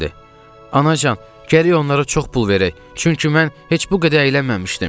Anacan, gərək onlara çox pul verək, çünki mən heç bu qədər əylənməmişdim.